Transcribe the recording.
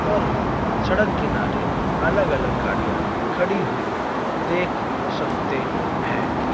और हम सड़क किनारे अलग अलग गाड़ियां खड़ी हुई देख सकते हैं।